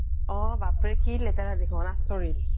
অ' বাপৰে কি লেতেৰা দেখোন আচৰিত